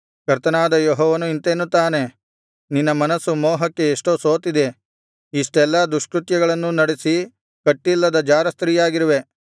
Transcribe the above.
ಕರ್ತನಾದ ಯೆಹೋವನು ಇಂತೆನ್ನುತ್ತಾನೆ ನಿನ್ನ ಮನಸ್ಸು ಮೋಹಕ್ಕೆ ಎಷ್ಟೋ ಸೋತಿದೆ ಇಷ್ಟೆಲ್ಲಾ ದುಷ್ಕೃತ್ಯಗಳನ್ನು ನಡೆಸಿ ಕಟ್ಟಿಲ್ಲದ ಜಾರಸ್ತ್ರೀಯಾಗಿರುವೆ